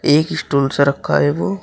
एक स्टूल से रखा है वो।